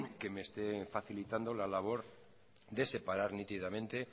que me esté facilitando la labor de separar nítidamente